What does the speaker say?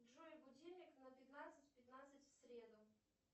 джой будильник на пятнадцать пятнадцать в среду